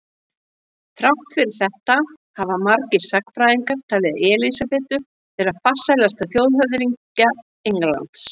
Þrátt fyrir þetta hafa margir sagnfræðingar talið Elísabetu vera farsælasta þjóðhöfðingja Englands.